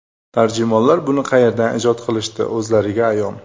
Tarjimonlar buni qayerdan ijod qilishdi o‘zlariga ayon.